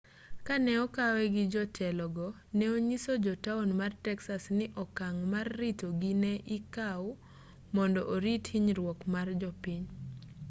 kane okowe gi jotelogo ne onyiso jo taon mar texas ni okang' mar ritogi ne ikaw mondo orit hinyruok mar jopiny